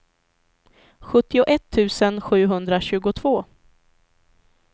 sjuttioett tusen sjuhundratjugotvå